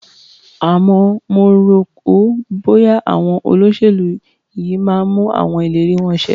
Àmọ́ mo rò ó, bọ́ya àwọn olóṣèlú yìí máa mú àwọn ìlérí wọn ṣẹ.